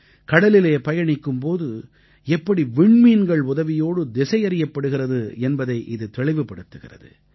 கடலிலே பயணிக்கும் போது எப்படி விண்மீன்கள் உதவியோடு திசையறியப்படுகிறது என்பதை இது தெளிவுபடுத்துகிறது